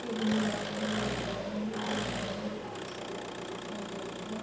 বেগুনি রঙের হলুদ রঙের লাল রঙের লাল সাদা রঙের কমলা রঙের --